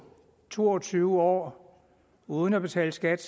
to og tyve år uden at betale skat